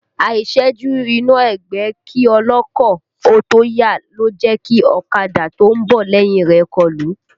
Àìṣẹ́jú iná ẹgbẹ́ kí ọlọ́kọ̀ ó tó yà ló jẹ́ kí ọ̀kadà tó ń bọ̀ lẹ́yìn rẹ̀ ó kọlù ú